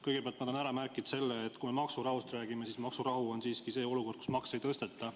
Kõigepealt ma tahan ära märkida selle, et kui me maksurahust räägime, siis maksurahu on see olukord, kui makse ei tõsteta.